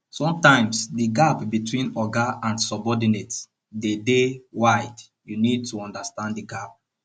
sometimes di gap between oga and subordinate dey dey wide you need to understand di gap